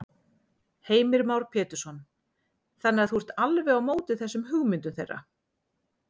Heimir Már Pétursson: Þannig að þú ert alveg á móti þessum hugmyndum þeirra?